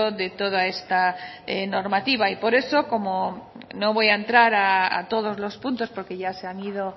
de toda esta normativa no voy a entrar a todos los puntos porque ya se han ido